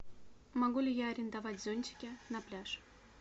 могу ли я арендовать зонтики на пляж